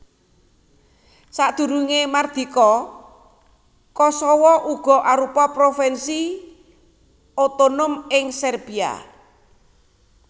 Sadurungé mardika Kosowo uga arupa provinsi otonom ing Serbiya